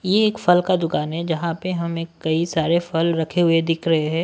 ये एक फल का दुकान है जहां पर हमें कई सारे फल रखे हुए दिख रहे हैं।